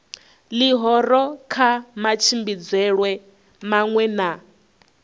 ḽihoro kha matshimbidzelwe maṅwe na